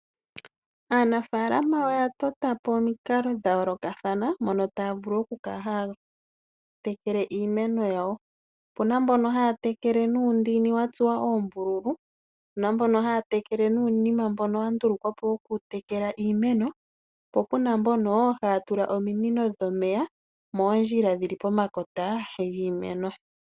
Aanafaalama oya tota po omikalo dha yoolokathana mono taya vulu oku kala haya tekele iimeno yawo. Opuna mbono haya tekele nuundini wa tsuwa oombululu, opuna mbono haya tekele nuunima mbono wa ndulukwa po woku tekela iimeno, po puna mbono haya tula ominino dhomeya moondjila dhili pomakota giimeno.